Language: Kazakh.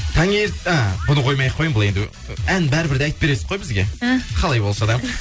і бұны қоймай ақ қояйын бұл енді ән бәрі бір де айтып бересіз ғой бізге і қалай болса да